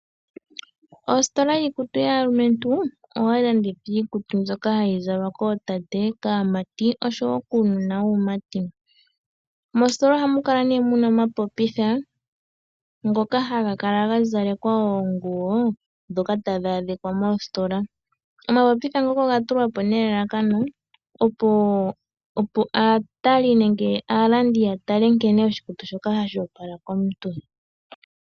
Ositola yiikutu yaalumentu ohayi landitha iikutu mbyoka hayi zalwa kootate, kaamati oshowo kuunona wuumati. Mositola oha mu kala nee muna omapopitha ngoka haga kala ga zalekwa oonguwo dhoka tadhi adhika moositola. Omapopitha ngoka oga tulwa po nelalakano opo aatali nenge aalandi ya tale nkene oshikutu shoka hashi opala komuntu.